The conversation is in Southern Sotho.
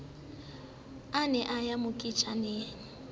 a ne a ya moketjaneng